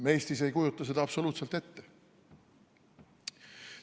Me Eestis ei kujuta seda absoluutselt ette.